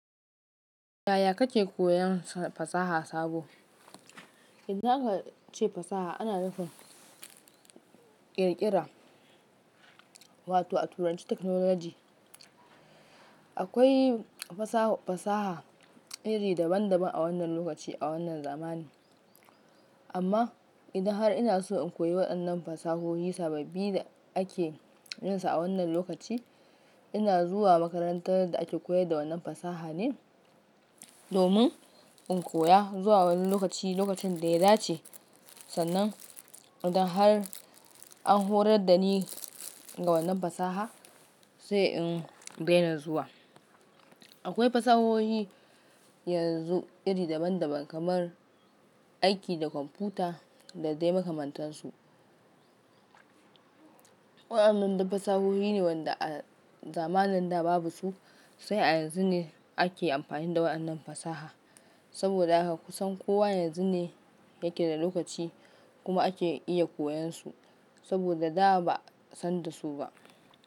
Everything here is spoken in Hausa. Yaya kake koyan fasaha sabo? Idan aka ce fasaha ana nufan ƙirƙira, wato a turanci Technology. Akwai fasaha iri daban daban a wannan lokaci a wannan zamani. Amma idan har ina so in koyi waɗannan fasahohi sababbi da ake yinsa a wannan lokaci, ina zuwa makarantar da ake koyar da wannan fasaha ne domin in koya zuwa wani lokaci, lokacin da ya dace sannan idan har an horar da ni ga wannan fasaha sai in daina zuwa. Akwai fasahohi yanzu iri daban daban kamar aiki da kwamfuta da dai makamantansu. Waɗannan duka fasahohi ne wanda a zamanin da babu su sai a yanzu ne ake amfani da waɗannan fasaha. Saboda haka kusan kowa yanzu ne yake da lokaci kuma ake iya koyan su saboda da ba a san da su ba.